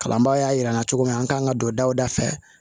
Kalanbaa y'a yira n na cogo min na an kan ka don daw da fɛ